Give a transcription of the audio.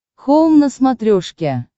хоум на смотрешке